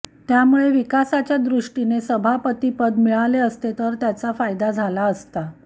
त्यामुळे विकासाच्या दृष्टीने सभापतीपद मिळाले असते तर त्याचा फायदा झाला असता